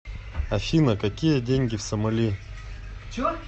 афина какие деньги в сомали